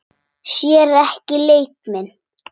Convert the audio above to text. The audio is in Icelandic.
Sér ekki leik minn.